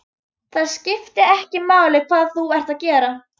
Það skiptir ekki máli hvað þú ert að gera.